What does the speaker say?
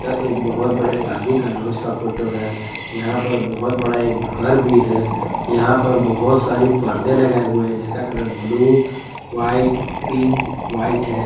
यह एक बहुत बड़े शादी का लॉज का फोटो है यहां पर बहुत बड़ा एक घर भी है यहां पर बहुत सारी पर्दे लगाए हुए हैं जिसका colour blue white pink white है।